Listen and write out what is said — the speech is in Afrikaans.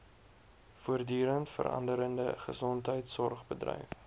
voortdurend veranderende gesondheidsorgbedryf